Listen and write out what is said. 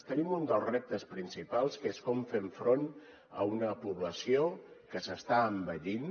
tenim un dels reptes principals que és com fem front a una població que s’està envellint